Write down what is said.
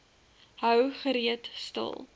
hou gereeld stil